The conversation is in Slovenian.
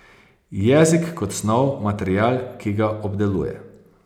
Jezik kot snov, material, ki ga obdeluje.